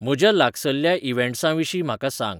म्हज्या लागसल्ल्या इव्हॅन्ट्सांविशीं म्हाका सांग